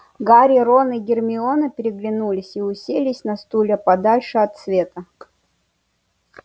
гарри рон и гермиона переглянулись и уселись на стулья подальше от света